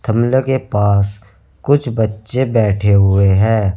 के पास कुछ बच्चे बैठे हुए हैं।